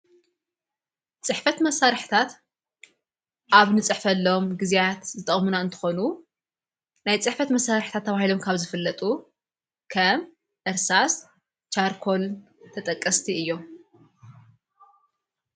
ጽሕፈት መሣርሕታት ኣብ ንጽሕፈሎም ጊዜያት ዝጠቅሙና እንተኾኑ ናይ ጽሕፈት መሣርሕታት ኣብሂሎም ካብ ዝፈለጡ ከም ዕርሳስ ሻርኮልን ተጠቀስቲ እዮም።